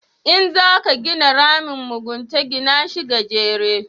In za ka gina ramin mugunta, gina shi gajere